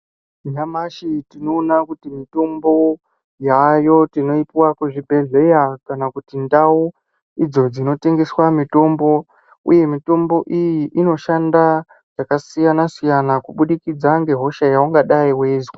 Nyamashi tinoona kuti mitombo yaayo tinoipuwa muzvibhedhleya, kana ndau idzo dzinotengeswa mitombo, uye mitombo iyi inoshanda zvakasiyana -siyana kubudikidza ngehosha yaungadai weizwa.